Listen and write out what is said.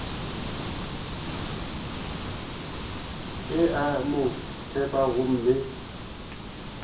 o a mo tseba gomme